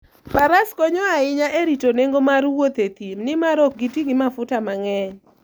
Faras konyo ahinya e rito nengo mar wuoth e thim, nimar ok giti gi mafuta mang'eny.